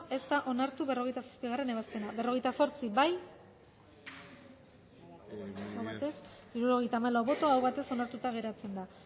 ez da onartu berrogeita zazpigarrena ebazpena berrogeita zortzi bozkatu dezakegu bozketaren emaitza onako izan da hirurogeita hamalau eman dugu bozka hirurogeita hamalau boto aldekoa aho batez onartuta geratzen da